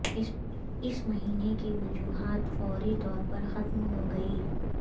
اس مہینے کی وجوہات فوری طور پر ختم ہو گئی